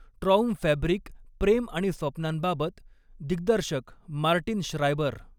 Traumfabrik प्रेम आणि स्वप्नांबाबत दिग्दर्शक मार्टिन श्रायबर